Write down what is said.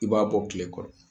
I b'a bɔ kile kɔrɔ.